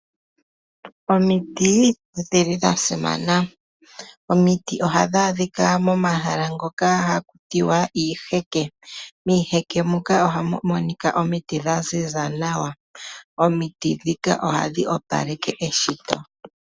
Omiti odhili dha simana. Omiti ohadhi adhika momahala ngoka haku tiwa iiheke. Miiheke moka ohamu monika omiti dha ziza nawa. Omiti ndhika ohadhi opaleke eshito.